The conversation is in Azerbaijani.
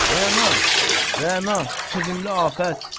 Rəna, Rəna, sevimli afət.